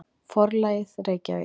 Forlagið: Reykjavík.